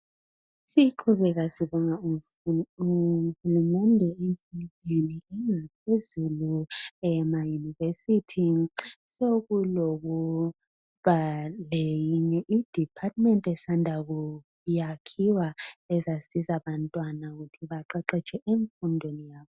Siqhubeka sibonga uhulumende. Ema- university sekuleyinye department esanda kwakhiwa. Ezasiza abantwana ukuthi baqeqetshe emfundweni yabo.